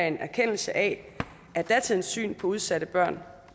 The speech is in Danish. en erkendelse af at datidens syn på udsatte børn